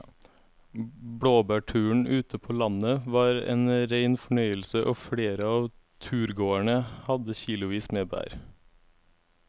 Blåbærturen ute på landet var en rein fornøyelse og flere av turgåerene hadde kilosvis med bær.